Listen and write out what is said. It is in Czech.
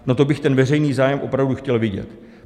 No, to bych ten veřejný zájem opravdu chtěl vidět.